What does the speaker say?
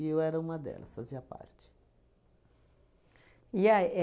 eu era uma delas, fazia parte. E a